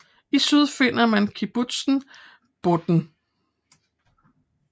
I syd finder man Kubitzer Bodden